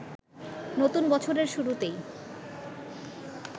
নতুন বছরের শুরুতেই